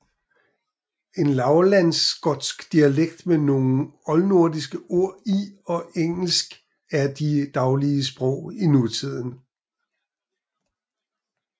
En Lavlandsskotsk dialekt med nogle oldnordiske ord i og engelsk er de daglige sprog i nutiden